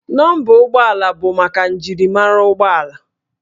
Nọmba ụgbọala bụ maka njirimara ụgbọala